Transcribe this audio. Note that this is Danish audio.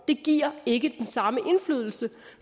det giver ikke den samme indflydelse og